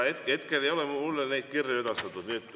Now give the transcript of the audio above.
Hetkel ei ole mulle neid kirju edastatud.